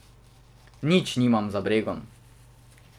Nič nimam za bregom.